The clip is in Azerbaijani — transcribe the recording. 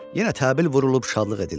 Yenə təbil vurulub şadlıq edildi.